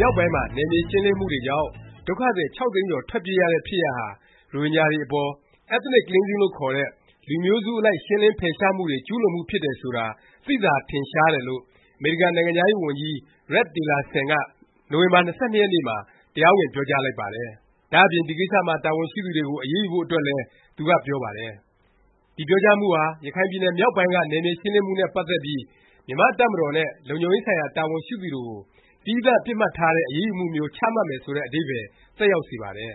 မြောက်ပိုင်းမှာ နယ်မြေ ရှင်းလင်းမှုတွေကြောင့် ဒုက္ခသည် ၆ သိန်းကျော် ထွက်ပြေးရတဲ့ ဖြစ်ရပ်ဟာ ရိုဟင်ဂျာတွေအပေါ် Ethnic Cleansing လို့ခေါ်တဲ့ လူမျိုးစုအလိုက် ရှင်းလင်း ဖယ်ရှားမှုတွေ ကျူးလွန်မှု ဖြစ်တယ်ဆိုတာ သိသာ ထင်ရှားတယ်လို့ အမေရိကန်နိုင်ငံခြားရေးဝန်ကြီး Rex Tillerson က နိုဝင်ဘာလ ၂၂ ရက်နေ့မှာ တရားဝင် ပြောကြား လိုက်ပါတယ်။ ဒါ့အပြင် ဒီကိစ္စမှာ တာဝန်ရှိသူတွေကို အရေးယူဖို့အတွက်လည်း သူက ပြောပါတယ်။ ဒီပြောကြားမှုဟာ ရခိုင်ပြည်နယ် မြောက်ပိုင်းက နယ်မြေရှင်းလင်းမှုနဲ့ ပတ်သက်ပြီး မြန်မာ့တပ်မတော်နဲ့ လုံခြုံရေးဆိုင်ရာ တာဝန်ရှိသူတွေကို သီးသန့် ပစ်မှတ်ထားတဲ့ အရေးယူမှုမျိုး ချမှတ်မယ်ဆိုတဲ့ အဓိပ္ပါယ် သက်ရောက်စေပါတယ်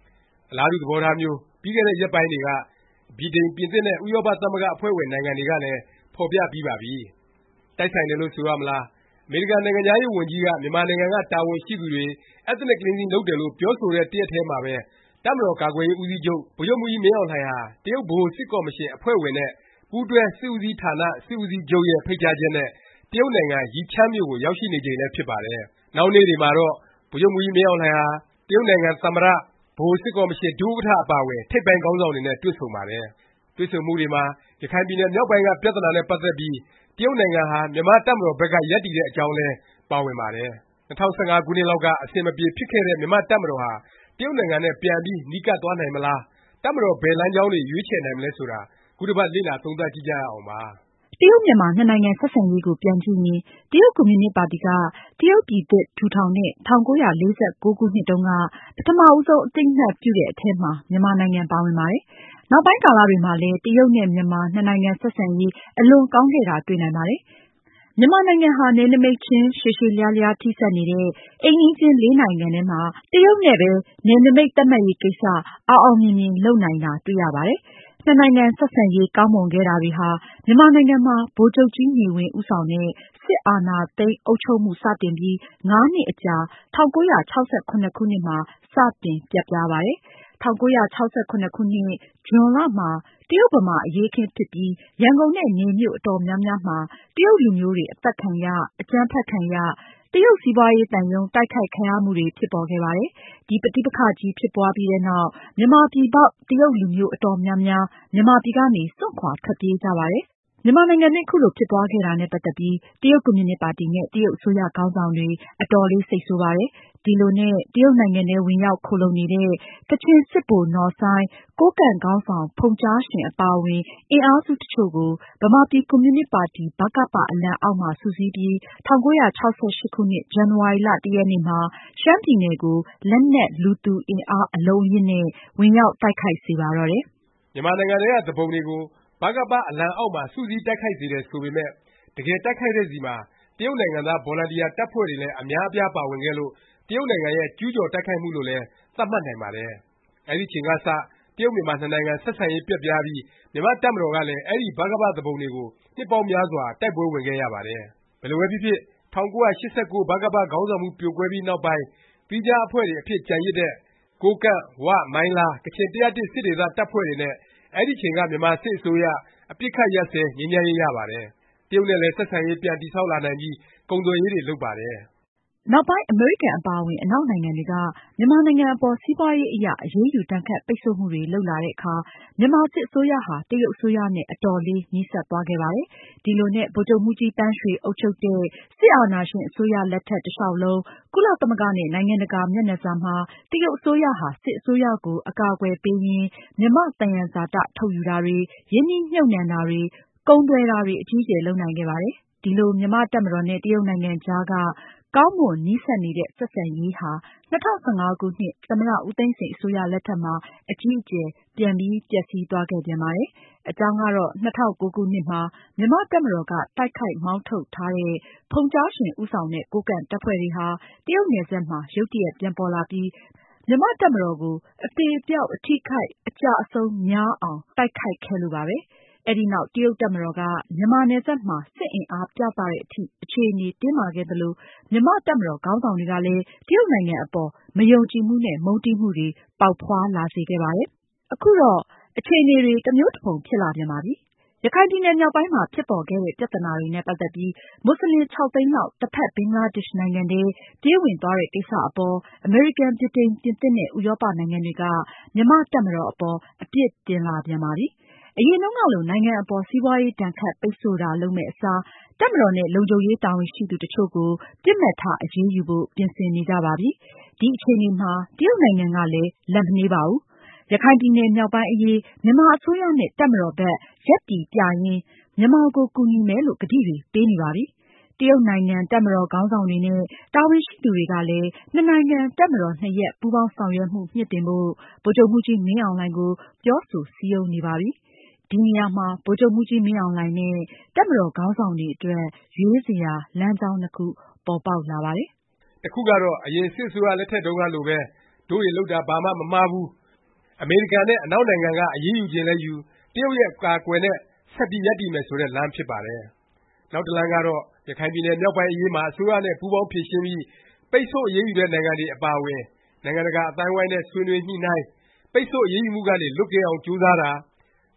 ။ အလားတူ သဘောထားမျိုး ပြီးခဲ့တဲ့ ရက်ပိုင်းတွေက ဗြိတိန်၊ ပြင်သစ်နဲ့ ဥရောပ သမဂ္ဂ အဖွဲ့ဝင် နိုင်ငံတွေကလည်း ဖော်ပြပြီးပါပြီ။ တိုက်ဆိုင်တယ်လို့ ဆိုရမလား၊ အမေရိကန်နိုင်ငံခြားရေး ဝန်ကြီးက မြန်မာနိုင်ငံက တာဝန်ရှိသူတွေ Ethnic Cleansing လုပ်တယ်လို့ ပြောဆိုတဲ့ တစ်ရက်တည်းမှာပဲ တပ်မတော်ကာကွယ်ရေး ဦးစီးချုပ် ဗိုလ်ချုပ်မှူးကြီးမင်းအောင်လှိုင်ဟာ တရုတ်ဗဟို စစ်ကော်မရှင် အဖွဲ့ဝင်နဲ့ ပူးတွဲ စစ်ဦးစီးဌာန စစ်ဦးချုပ်ရဲ့ ဖိတ်ကြားချက်နဲ့ တရုတ်နိုင်ငံ ယိချန်းမြို့ကို ရောက်ရှိနေချိန်လည်း ဖြစ်ပါတယ်။ နောက်နေ့တွေမှာတော့ ဗိုလ်ချုပ်မှူးကြီးမင်းအောင်လှိုင်ဟာ တရုတ်နိုင်ငံ ဗဟိုစစ်ကော်မရှင် ဒုဥက္ကဌ အပါအဝင် ထိပ်ပိုင်းခေါင်းဆောင်တွေနဲ့ တွေ့ဆုံပါတယ်။ တွေ့ဆုံမှုတွေမှာ ရခိုင်ပြည်နယ် မြောက်ပိုင်းက ပြသနာနဲ့ ပတ်သက်ပြီး တရုတ်နိုင်ငံဟာ မြန်မာ့တပ်မတော်ဘက်က ရပ်တည်တဲ့ အကြောင်းလည်း ပါဝင်ပါတယ်။ ၂၀၁၅ ခုနှစ်လောက်က အဆင်မပြေဖြစ်ခဲ့တဲ့ မြန်မာ့တပ်မတော်ဟာ တရုတ်နိုင်ငံနဲ့ ပြန်ပြီး နီးကပ်သွားနိုင်မလား၊ တပ်မတော် ဘယ်လမ်းကြောင်းတွေ ရွေးချယ်နိုင်မလဲ ဆိုတာ ခုတစ်ပတ် လေ့လာသုံးသပ်ကြည့်ကြရအောင်ပါ။ တရုတ်၊ မြန်မာ နှစ်နိုင်ငံ ဆက်ဆံရေးကို ပြန်ကြည့်ရင် တရုတ်ကွန်မြူနစ်ပါတီက တရုတ်ပြည်သစ် ထူထောင်တဲ့ ၁၉၄၉ ခုနှစ်တုန်းက ပထမဦးဆုံး အသိအမှတ်ပြုတဲ့အထဲမှာ မြန်မာနိုင်ငံ ပါဝင်ပါတယ်။ နောက်ပိုင်းကာလတွေမှာလည်း တရုတ်နဲ့ မြန်မာနှစ်နိုင်ငံ ဆက်ဆံရေး အလွန်ကောင်းခဲ့တာ တွေ့နိုင်ပါတယ်။ မြန်မာနိုင်ငံဟာ နယ်နိမိတ်ချင်း ရှည်ရှည်လျားလျား ထိစပ်နေတဲ့ အိမ်နီးချင်း ၄ နိုင်ငံထဲမှာ တရုတ်တစ်နိုင်ငံနဲ့ ပဲ နယ်နိမိတ် သတ်မှတ်ရေးကိစ္စ အောင်အောင်မြင်မြင် လုပ်နိုင်တာ တွေ့ရပါတယ်။ နှစ်နိုင်ငံ ဆက်ဆံရေး ကောင်းမွန်ခဲ့တာတွေဟာ မြန်မာနိုင်ငံမှာ ဗိုလ်ချုပ်ကြီးနေဝင်း ဦးဆောင်တဲ့ စစ်အာဏာသိမ်း အုပ်ချုပ်မှု စတင်ပြီး ၅ နှစ်အကြာ ၁၉၆၇ ခုနှစ်မှာ စတင် ပျက်ပြားပါတယ်။ ၁၉၆၇ ဇွန်လမှာ တရုတ်-ဗမာ အရေးအခင်းဖြစ်ပြီး ရန်ကုန်နဲ့ နယ်မြို့ အတော်များများမှာ တရုတ်လူမျိုးတွေ အသတ်ခံရ၊ အကြမ်းဖက်ခံရ၊ တရုတ်စီးပွားရေးသံရုံး တိုက်ခိုက်ခံရမှုတွေ ဖြစ်ပေါ်ခဲ့ပါတယ်။ ဒီပဋိပက္ခကြီး ဖြစ်ပွားပြီးနောက် မြန်မာပြည်ပေါက် တရုတ်လူမျိုး အတော်များများ မြန်မာပြည်ကနေ စွန့်ခွာ ထွက်ပြေးကြပါတယ်။ မြန်မာနိုင်ငံအတွင်း ခုလို ဖြစ်ပွားခဲ့တာနဲ့ ပတ်သက်ပြီး တရုတ်ကွန်မြူနစ်ပါတီနဲ့ တရုတ် အစိုးရ ခေါင်းဆောင်တွေ အတော်လေးစိတ်ဆိုးပါတယ်။ ဒီလိုနဲ့ တရုတ်နိုင်ငံထဲ ဝင်ရောက်ခိုလှုံနေတဲ့ ကချင်စစ်ဗိုလ် နော်ဆိုင်း၊ ကိုးကန့် ခေါင်းဆောင် ဖုန်ကျားရှင် အပါအဝင် အင်အားစု တချို့ကို ဗမာပြည် ကွန်မြူနစ် ပါတီ အလံအောက်မှာ စုစည်းပြီး ၁၉၆၈ ခုနှစ် ဇန်နဝါရီ ၁ ရက်နေ့မှာ ရှမ်းပြည်နယ်ကို လက်နက်လူသူအင်အား အလုံးအရင်းနဲ့ ဝင်ရောက်တိုက်ခိုက်စေပါတော့တယ်။ မြန်မာနိုင်ငံထဲက သူပုန်တွေကို ဗကပ အလံအောက်မှာ စုစည်း တိုက်ခိုက်စေတယ် ဆိုပေမယ့် တကယ် တိုက်ခိုက်တဲ့ဆီမှာ တရုတ်နိုင်ငံသား ဗော်လံတီယာ တပ်ဖွဲ့တွေလည်း အများအပြား ပါဝင်ခဲ့လို့ တရုတ်နိုင်ငံရဲ့ ကျူးကျော်တိုက်ခိုက်မှုလို့လည်း သတ်မှတ်နိုင်ပါတယ်။ အဲဒီအချိန်ကစ တရုတ်-မြန်မာ နှစ်နိုင်ငံ ဆက်ဆံရေး ပျက်ပြားပြီး မြန်မာ့တပ်မတော်ကလည်း အဲဒီ ဗကပ သူပုန်တွေကို နှစ်ပေါင်းများစွာ တိုက်ပွဲဝင်ခဲ့ရပါတယ်။ ဘယ်လိုပဲဖြစ်ဖြစ် ၁၉၈၉ ဗကပ ခေါင်းဆောင်မှု ပြိုကွဲပြီးနောက်ပိုင်း သီးခြားအဖွဲ့တွေ အဖြစ် ကျန်ရစ်တဲ့ ကိုးကန့်၊ ဝ၊ မိုင်းလား၊ ကချင် ၁၀၁ စစ်ဒေသ တပ်ဖွဲ့တွေနဲ့ အဲဒီအချိန်က မြန်မာစစ်အစိုးရ အပစ်အခတ် ရပ်စဲ ငြိမ်းချမ်းရေး ရပါတယ်။ တရုတ်နဲ့လည်း ဆက်ဆံရေး ပြန်တည်ဆောက်လာနိုင်ပြီး ကုန်သွယ်ရေးတွေ လုပ်ပါတယ်။ နောက်ပိုင်း အမေရိကန်အပါအဝင် အနောက်နိုင်ငံတွေက မြန်မာနိုင်ငံအပေါ် စီးပွားရေးအရ အရေးယူ ဒါဏ်ခတ်ပိတ်ဆို့မှုတွေ လုပ်လာတဲ့အခါ မြန်မာစစ်အစိုးရဟာ တရုတ်အစိုးရနဲ့ အတော်လေး နီးစပ်သွားခဲ့ပါတယ်။ ဒီလိုနဲ့ ဗိုလ်ချုပ်မှူးကြီးသန်းရွှေ အုပ်ချုပ်တဲ့ စစ်အာဏာရှင်အစိုးရ လက်ထက် တလျောက်လုံး ကုလသမဂ္ဂနဲ့ နိုင်ငံတကာ မျက်နှာစာမှာ တရုတ်အစိုးရဟာ စစ်အစိုးရကို အကာအကွယ်ပေးရင်း မြန်မာ့သယံဇာတ ထုတ်ယူတာတွေ၊ ရင်းနှီးမြှုပ်နှံတာတွေ၊ ကုန်သွယ်တာတွေ အကြီးအကျယ် လုပ်ကိုင်နိုင်ခဲ့ပါတယ်။ ဒီလို မြန်မာ့တပ်မတော်နဲ့ တရုတ်နိုင်ငံကြားက ကောင်းမွန်နီးစပ်နေတဲ့ ဆက်ဆံရေးဟာ ၂၀၁၅ ခုနှစ် သမ္မတ ဦးသိန်းစိန် အစိုးရလက်ထက်မှာ အကြီးအကျယ် ပြန် ပျက်စီးသွားခဲ့ပြန်ပါတယ်။ အကြောင်းကတော့ ၂၀၀၉ ခုနှစ်မှာ မြန်မာ့တပ်မတော်က တိုက်ခိုက်မောင်းထုတ်ထားတဲ့ ဖုန်ကျားရှင် ဦးဆောင်တဲ့ ကိုးကန့်တပ်ဖွဲ့တွေဟာ တရုတ်နယ်စပ်မှာ ရုတ်တရက်ပြန်ပေါ်လာပြီး မြန်မာ့တပ်မတော်ကို အသေအပျောက် အထိအခိုက် အကျအဆုံးများအောင် တိုက်ခိုက်ခဲ့လို့ပါပဲ။ အဲဒီနောက် တရုတ်တပ်မတော်က မြန်မာနယ်စပ်မှာ စစ်အင်အားပြသတဲ့အထိ အခြေအနေ တင်းမာခဲ့သလို မြန်မာ့တပ်မတော်ခေါင်းဆောင်တွေကလည်း တရုတ်နိုင်ငံအပေါ် မယုံကြည်မှုနဲ့ မုန်းတီးမှုတွေ ပေါက်ဖွားလာစေခဲ့ပါတယ်။ ခုတော့ အခြေအနေတွေ တစ်မျိုးတစ်ဖုံ ဖြစ်လာပြန်ပါပြီ။ ရခိုင်ပြည်နယ်မြောက်ပိုင်းမှာ ဖြစ်ပေါ်ခဲ့တဲ့ ပြသနာတွေနဲ့ ပတ်သက်ပြီး မူဆလင် ၆ သိန်းလောက် တစ်ဖက် ဘင်္ဂလားဒေ့ရှ်နိုင်ငံထဲ ပြေးဝင်သွားတဲ့ ကိစ္စအပေါ် အမေရိကန်၊ ဗြိတိန်၊ ပြင်သစ်နဲ့ ဥရောပ နိုင်ငံတွေက မြန်မာ့တပ်မတော် အပေါ် အပြစ်တင်လာပြန်ပါပြီ။ အရင်တုန်းကလို နိုင်ငံအပေါ် စီးပွားရေး ဒါဏ်ခတ် ပိတ်ဆို့တာ လုပ်မယ့်အစား တပ်မတော်နဲ့ လုံခြုံရေး တာဝန်ရှိသူတစ်ချို့ကို ပစ်မှတ်ထား အရေးယူဖို့ ပြင်ဆင်နေကြပါပြီ။ ဒီအခြေအနေမှာ တရုတ်နိုင်ငံကလည်း လက်မနှေးပါဘူး။ ရခိုင်ပြည်နယ် မြောက်ပိုင်းအရေး မြန်မာအစိုးရနဲ့ တပ်မတော်ဘက် ရပ်တည်ပြရင်း မြန်မာကို ကူညီမယ်လို့ ကတိတွေ ပေးနေပါပြီ။ တရုတ်နိုင်ငံ တပ်မတော်ခေါင်းဆောင်တွေနဲ့ တာဝန်ရှိသူတွေကလည်း နှစ်နိုင်ငံ တပ်မတော်နှစ်ရပ် ပူးပေါင်းဆောင်ရွက်မှု မြှင့်တင်ဖို့ ဗိုလ်ချုပ်မှူးကြီး မင်းအောင်လှိုင်ကို ပြောဆို စည်းရုံးနေပါပြီ။ ဒီနေရာမှာ ဗိုလ်ချုပ်မှူးကြီး မင်းအောင်လှိုင်နဲ့ တပ်မတော် ခေါင်းဆောင်တွေအတွက် ရွေးချယ်စရာ လမ်းကြောင်းနှစ်ခု ပေါ်ပေါက်လာပါတယ်။ တစ်ခုကတော့ အရင် စစ်အစိုးရလက်ထက်တုန်းကလိုပဲ၊ တို့တွေ လုပ်တာ ဘာမှမမှားဘူး၊ အမေရိကန်နဲ့ အနောက်နိုင်ငံက အရေးယူချင်လည်းယူ၊ တရုတ်ရဲ့ အကာအကွယ်နဲ့ ဆက်ပြီး ရပ်တည်မယ်ဆိုတဲ့ လမ်းဖြစ်ပါတယ်။ နောက် လမ်းတစ်လမ်းကတော့ ရခိုင်ပြည်နယ် မြောက်ပိုင်း အရေးမှာ အစိုးရနဲ့ ပူးပေါင်းဖြေရှင်းပြီး ပိတ်ဆို့အရေးယူတဲ့ နိုင်ငံတွေ အပါအဝင် နိုင်ငံတကာ အသိုင်းနဲ့ ဆွေးနွေးညှိနှိုင်း၊ ပိတ်ဆို့ အရေးယူမှုကနေ လွတ်ကင်းအောင် ကြိုးစားတာ၊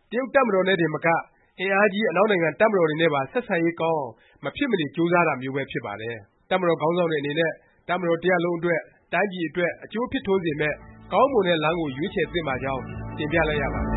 တရုတ် တပ်မတော်နဲ့တင်မက အင်အားကြီး အနောက်နိုင်ငံ တပ်မတော်တွေနဲ့ပါ ဆက်ဆံရေးကောင်းအောင် မဖြစ်မနေ ကြိုးစားတာမျိုးပဲ ဖြစ်ပါတယ်။ တပ်မတော် ခေါင်းဆောင်တွေအနေနဲ့ တပ်မတော်တစ်ရပ်လုံးအတွက်၊ တိုင်းပြည်အတွက် အကျိုးဖြစ်ထွန်းစေမယ့် ကောင်းမွန်တဲ့ လမ်းကို ရွေးချယ်သင့်ပါကြောင်းတင်ပြလိုက်ရပါတယ